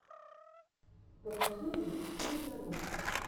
покажи мне мегару